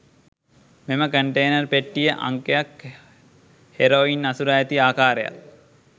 මෙම කන්ටේනර් පෙට්ටියේ අංකයත් හෙරොයින් අසුරා ඇති ආකාරයත්